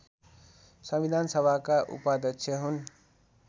संविधानसभाका उपाध्यक्ष हुन्